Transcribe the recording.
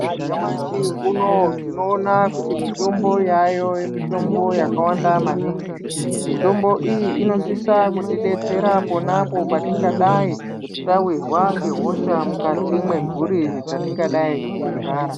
Nyamashi unowu tinoona kuti mitombo yayo mitombo yakawanda maningi mitombo iyi inosisa kutidetsera ponapo patingadai tawirwa ngehosha mukati mwemburi dzetingadai teigara